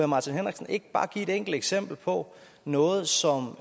martin henriksen ikke bare give et enkelt eksempel på noget som